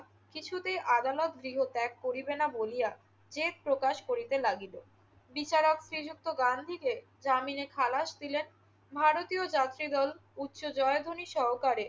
কিছুতেই আদালত গৃহ ত্যাগ করিবে না বলিয়া জেদ প্রকাশ করিতে লাগিল। বিচারক শ্রীযুক্ত গান্ধীকে জামিনে খালাস দিলেন। ভারতীয় যাত্রীদল উচ্চ জয়ধ্বনি সহকারে